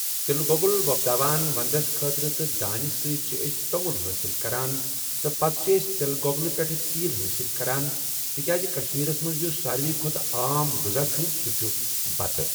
تِل گۄگُل وۄپداوان وَندَس خٲطٕر تہٕ دانہِ سۭتۍ چھِ أسۍ توٚمُل حٲصِل کَران تہٕ پَتہٕ چھُ أسہِ تِل گۄگلہٕ پٮ۪ٹھ تیٖل حٲصِل کَران تِکیٛازِ کَشمیٖرَس منٛز یُس ساروٕے کھۄتہٕ عام غذا چھُ سُہ چھُ بَتہٕ ۔